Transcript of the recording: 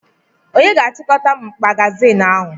Onye ga-achịkọta magazinụ ahụ?